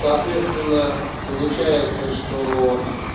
соответственно получается что